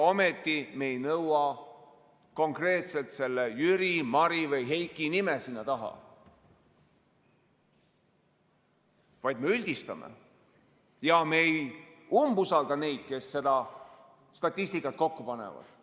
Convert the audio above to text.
Ometi me ei nõua konkreetselt selle Jüri, Mari või Heiki nime sinna taha, vaid me üldistame ja me ei umbusalda neid, kes seda statistikat kokku panevad.